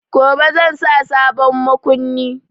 Gobe zan sa sabon makunni.